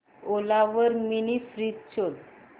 ओला वर mini fridge शोध